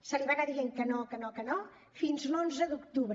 se li va anar dient que no que no que no fins a l’onze d’octubre